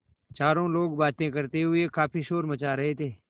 चारों लोग बातें करते हुए काफ़ी शोर मचा रहे थे